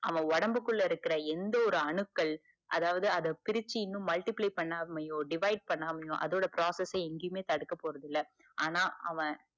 அவ உடம்பு குள்ள இருக்க எந்த ஒரு அணுக்கள் அதாது அத பிரிச்சி இன்னும் multiply பன்னாமையோ, divide பன்னாமையோ அதோட process அ எங்கயுமே தடுக்க போறது இல்ல. ஆனா, அவ